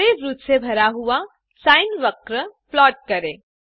हरे वृत्त से भरा हुआ साइन वक्र प्लॉट करें